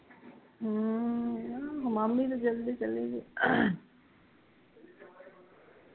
ਹਮ ਮਾਮੀ ਦੇ ਦਿਲ ਦੀ